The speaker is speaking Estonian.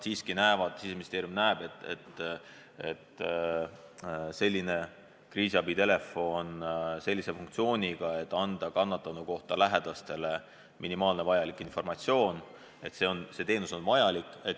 Siseministeerium näeb, et selline kriisiabitelefon sellise funktsiooniga, et anda kannatanu kohta lähedastele minimaalne vajalik informatsioon, on vajalik.